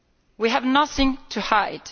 We have nothing to hide.